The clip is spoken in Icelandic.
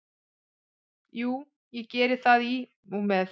Jú, ég geri það í og með.